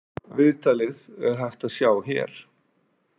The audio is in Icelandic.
Viðtalið er hægt að sjá hér.